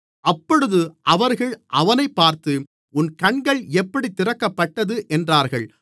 அப்பொழுது அவர்கள் அவனைப் பார்த்து உன் கண்கள் எப்படித் திறக்கப்பட்டது என்றார்கள்